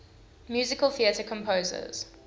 musical theatre composers